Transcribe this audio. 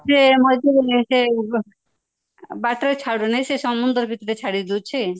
ବାଟରେ ଛାଡୁନାହିଁ ସେ ସମୁଦ୍ର ଭିତରେ ଛାଡିଦେଉଛି